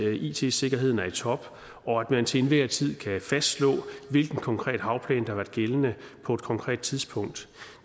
at it sikkerheden er i top og at man til enhver tid kan fastslå hvilken konkret havplan der har været gældende på et konkret tidspunkt